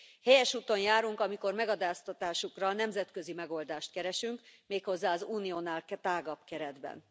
Helyes úton járunk, amikor megadóztatásukra nemzetközi megoldást keresünk, méghozzá az Uniónál tágabb keretben.